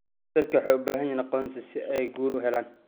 Dadku waxay u baahan yihiin aqoonsi si ay guri u helaan.